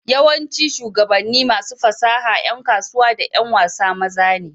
yawancin shugabanni, masu fasaha, ’yan kasuwa, da ’yan wasa maza ne